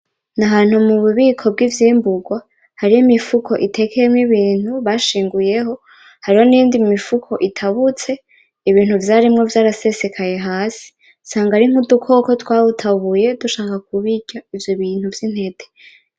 N'ahantu mu bubiko bw'ivyimbugwa hari imifuko itekeyemwo ibintu bashinguyeho, hariho n'iyindi mifuko itabutse, ibintu vyarimwo vyarasesekaye hasi, usanga ari nk' udukoko twawutabuye dushaka kubirya ivyo bintu vy'intete.